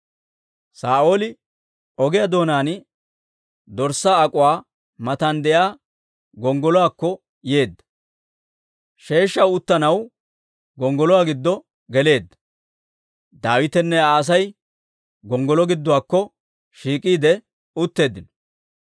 Saa'ooli ogiyaa doonaan dorssaa ak'uwaa matan de'iyaa gonggoluwaakko yeedda; sheeshshaw uttanaw gonggoluwaa giddo geleedda. Daawitenne Aa Asay gonggoloo giduwaakko shiik'iide utteeddino.